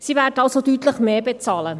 Sie werden also deutlich mehr bezahlen.